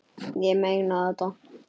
Ég meina þetta.